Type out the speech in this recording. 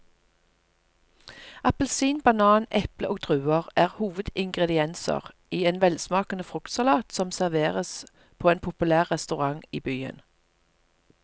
Appelsin, banan, eple og druer er hovedingredienser i en velsmakende fruktsalat som serveres på en populær restaurant i byen.